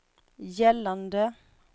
gällande